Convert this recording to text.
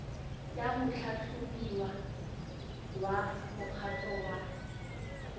ya motlhatlhobiwa wa mokgatlho wa